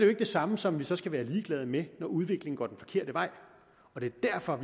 ikke det samme som at vi så skal være ligeglade med det når udviklingen går den forkerte vej og det er derfor